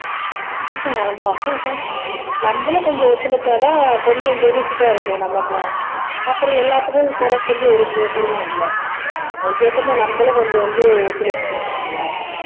ஆமா நம்மளும் கொஞ்சம் ஒத்துழைச்சா தான் கொஞ்சம் benefit ஆ இருக்கும் நமக்கும் அப்பறம் எல்லாத்துக்கும் குறை சொல்லி ஒரு புரோஜனமும் இல்ல அதுக்கு ஏத்த மாதிரி நம்மளும் கொஞ்சம் வந்து ஒத்துழைப்பு கொடுக்கணும்ல